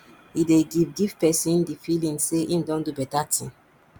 e dey give give person di feeling sey im don do better thing